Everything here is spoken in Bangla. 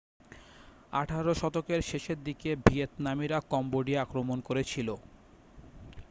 আঠেরো শতকের শেষের দিকে ভিয়েতনামিরা কম্বোডিয়া আক্রমণ করেছিল